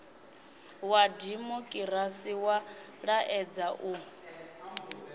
wa dimokirasi wa laedza u